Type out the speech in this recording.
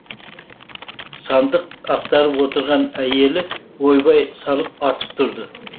сандық ақтарып отырған әйелі ойбай салып атып тұрды